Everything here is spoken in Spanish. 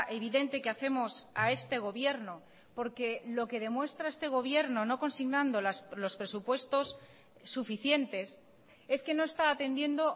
evidente que hacemos a este gobierno porque lo que demuestra a este gobierno no consignando los presupuestos suficientes es que no está atendiendo